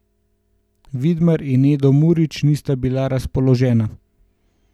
Vidmar in Edo Murić nista bila razpoložena.